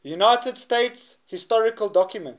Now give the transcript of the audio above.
united states historical documents